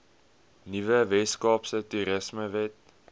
nuwe weskaapse toerismewet